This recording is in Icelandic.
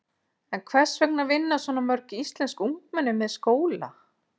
En hvers vegna vinna svona mörg íslensk ungmenni með skóla?